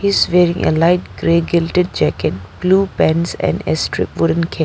He's wearing a light grey guilted jacket blue pants and a strip wooden k --